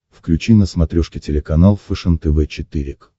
включи на смотрешке телеканал фэшен тв четыре к